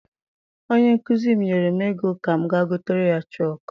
Onye nkụzi m nyere m ego ka m ga gotere ya chọku.